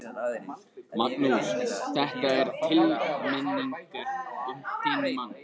Magnús: Þetta er til minningar um þinn mann?